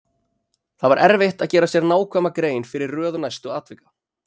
Það var erfitt að gera sér nákvæma grein fyrir röð næstu atvika.